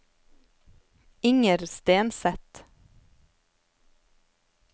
Inger Stenseth